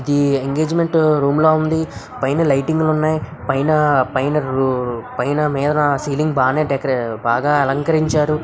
ఎమ్‌_కె పైన లైటింగ్ లు ఉన్నాయి. ఐ గెట్ లోన్లీ పైన లైటింగ్లోనే పైన పైన రూ పైన మేర సీలింగ్ బానే టెక్ బాగా అలంకరించారు.